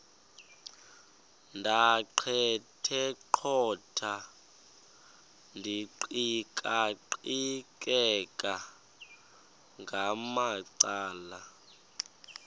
ndaqetheqotha ndiqikaqikeka ngamacala